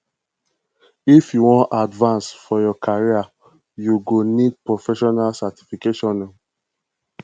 if you wan advance for your career you go need professional certification o